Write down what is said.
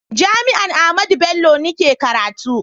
jami'an Ahmadu Bello ni ke karatu